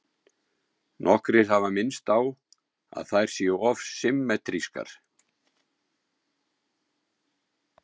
Nokkrir hafa minnst á að þær séu of symmetrískar.